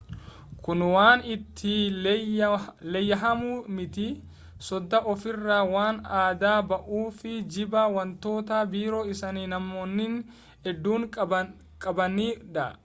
kun waan itti leeyyahamu miti sodaa ofiirraa waan adda bahuu fi jibba wantoota biroo isa namoonni hedduun qabani dha